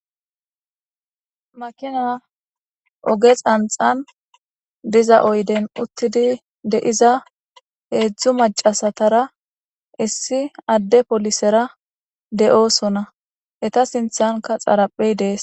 Makina oge xanxan diza oyden uttidi deiza heedzdzu macasatara issi adde polisera de'oosona eta sinthanka xaraphey dees.